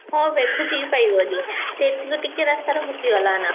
ହଁ ବେ ଖୋଜିକି ପାଇବନି ସେ ଏତେ ଟିକେ ରାସ୍ତାରେ ଭୁଲି ଗଲା ନା?